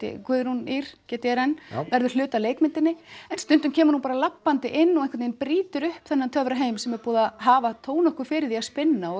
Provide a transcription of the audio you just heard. Guðrún Ýr g d r n verður hluti af leikmyndinni en stundum kemur hún bara labbandi inn og einhvern veginn brýtur upp þennan töfraheim sem er búið að hafa þó nokkuð fyrir að spinna og